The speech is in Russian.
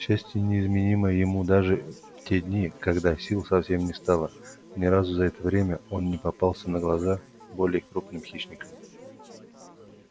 счастье не изменило ему даже в те дни когда сил совсем не стало ни разу за это время он не попался на глаза более крупным хищникам